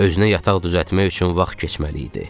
Özünə yataq düzəltmək üçün vaxt keçməli idi.